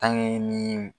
ni